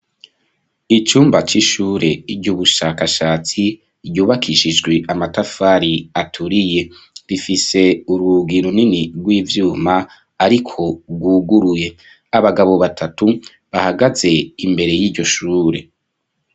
Icumba c'ishure ry'ubushakashatsi ryubakishijwe amatafari aturiye rifise urugai runini rw'ivyuma ariko bwuguruye abagabo batatu bahagaze imbere y'iryo shure.